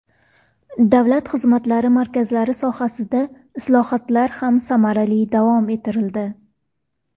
Davlat xizmatlari markazlari sohasida islohotlar ham samarali davom ettirildi.